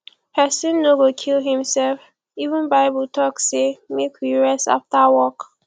person no go kill him self even bible talk say make we rest after work